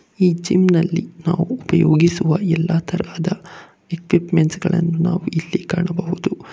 ಈ ಜಿಮ್ ನಲ್ಲಿ ನಾವು ಉಪಯೋಗಿಸುವ ಎಲ್ಲಾ ತರಹದ ಎಕ್ವಿಪ್ಮೆಂಟ್ ಗಳನ್ನು ನಾವು ಇಲ್ಲಿ ಕಾಣಬಹುದು.